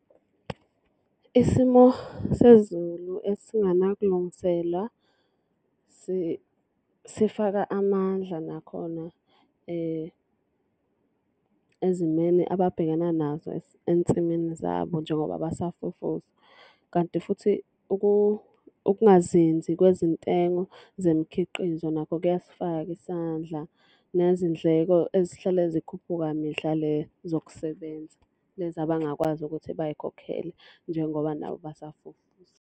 Isimo sezulu esinganakulungiselwa sifaka amandla nakhona ezimeni ababhekana nazo ensimini zabo njengoba basafufusa. Kanti futhi ukungazinzi kwezintengo zemikhiqizo nakho kuyasifaka isandla nezindleko ezihlale zikhuphuka mihla le zokusebenza. Lezi abangakwazi ukuthi bay'khokhele njengoba nabo basafufusa.